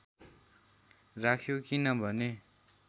राख्यो किन भने